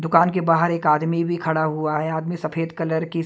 दुकान के बाहर एक आदमी भी खड़ा हुआ है आदमी सफेद कलर की--